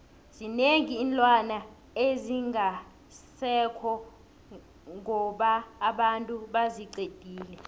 zinengi iinlwana ezingasekho ngoba abantu baziqedile